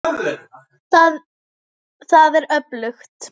Það er öflugt.